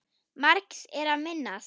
Margs er að minnast